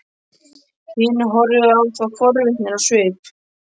Hinir horfðu á þá forvitnir á svip.